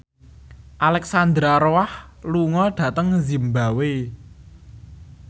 Alexandra Roach lunga dhateng zimbabwe